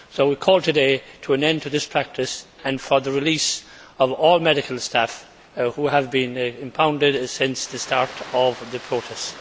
We call today for an end to this practice and for the release of all medical staff who have been impounded since the start of the protests.